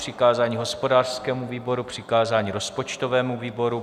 Přikázání hospodářskému výboru, přikázání rozpočtovému výboru.